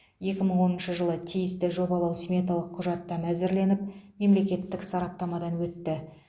екі мың оныншы жылы тиісті жобалау сметалық құжаттама әзірленіп мемлекеттік сараптамадан өтті